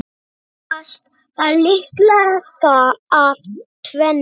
Helgast það líklega af tvennu.